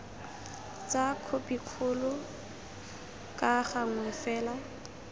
tsa khopikgolo ka gangwe fela